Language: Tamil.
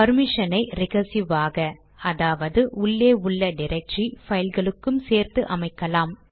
பர்மிஷனை ரிகர்சிவ் ஆக அதாவது உள்ளே உள்ள டிரக்டரி பைல்களுக்கும் சேர்த்து அமைக்கலாம்